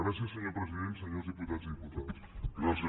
gràcies senyor president senyors diputats i diputades